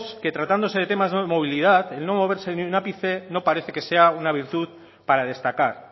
que tratándose de temas de movilidad el no moverse ni un ápice no parece que sea una virtud para destacar